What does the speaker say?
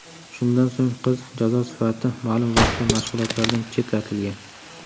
Shundan so‘ng qiz jazo sifatida ma’lum vaqtga mashg‘ulotlardan chetlatilgan.